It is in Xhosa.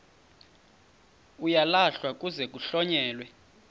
uyalahlwa kuze kuhlonyelwe